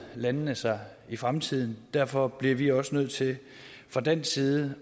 landene sig i fremtiden derfor bliver vi også nødt til fra dansk side